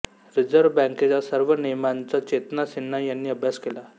reserve बँकेच्या सर्व नियमांचा चेतना सिन्हा यांनी अभ्यास केला